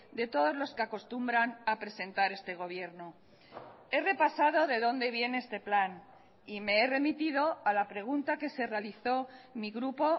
de todos los que acostumbran a presentar este gobierno he repasado de donde viene este plan y me he remitido a la pregunta que se realizó mi grupo